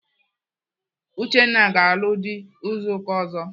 Uchenna ga-alụ dị izu ụka ọzọ.